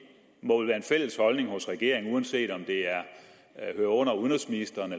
må vel være en fælles holdning hos regeringen uanset om det hører under udenrigsministeren